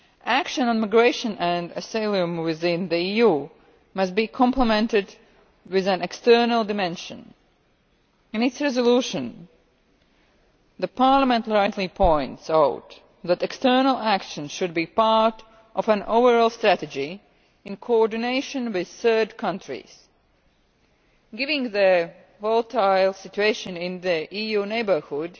Action on migration and asylum within the EU must be complemented with an external dimension. In its resolution, Parliament rightly points out that external action should be part of an overall strategy in coordination with third countries. Given the volatile situation in the EU's neighbourhood,